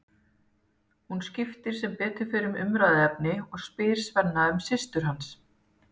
Hún skiptir sem betur fer um umræðuefni og spyr Svenna um systur hans.